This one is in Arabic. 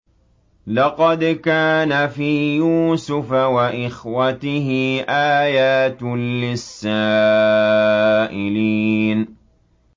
۞ لَّقَدْ كَانَ فِي يُوسُفَ وَإِخْوَتِهِ آيَاتٌ لِّلسَّائِلِينَ